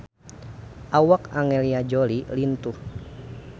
Awak Angelina Jolie lintuh